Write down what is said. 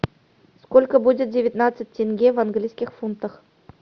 сколько будет девятнадцать тенге в английских фунтах